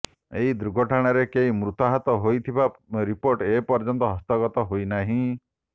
ଏହି ଦୁର୍ଘଟଣାରେ କେହି ମୃତାହତ ହୋଇଥିବା ରିପୋର୍ଟ ଏ ପର୍ଯ୍ୟନ୍ତ ହସ୍ତଗତ ହୋଇନାହିଁ